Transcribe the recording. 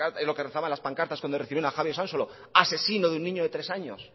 lo que rezaban las pancartas cuando recibieron a javi de usansolo asesino de un niño de tres años